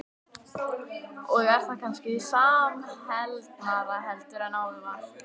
Og er það kannski samheldnara heldur en áður var?